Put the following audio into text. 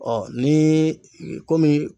niii komi